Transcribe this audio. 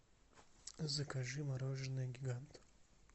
закажи мороженое гигант